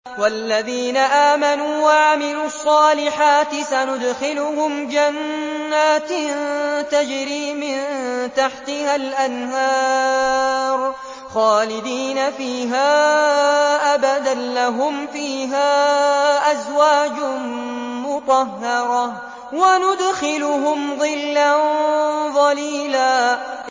وَالَّذِينَ آمَنُوا وَعَمِلُوا الصَّالِحَاتِ سَنُدْخِلُهُمْ جَنَّاتٍ تَجْرِي مِن تَحْتِهَا الْأَنْهَارُ خَالِدِينَ فِيهَا أَبَدًا ۖ لَّهُمْ فِيهَا أَزْوَاجٌ مُّطَهَّرَةٌ ۖ وَنُدْخِلُهُمْ ظِلًّا ظَلِيلًا